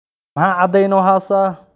Maxa cadeyn oo hasata.